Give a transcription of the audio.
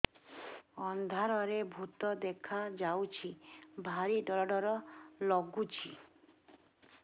ଅନ୍ଧାରରେ ଭୂତ ଦେଖା ଯାଉଛି ଭାରି ଡର ଡର ଲଗୁଛି